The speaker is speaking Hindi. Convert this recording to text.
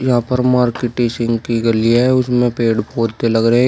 यहां पर मार्केटिसिंग की गली है उसमें पेड़ पौधे लग रहे--